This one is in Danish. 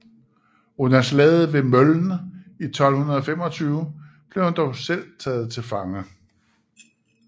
Under slaget ved Mölln i 1225 blev han dog selv taget til fange